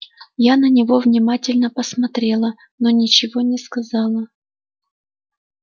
я на него внимательно посмотрела но ничего не сказала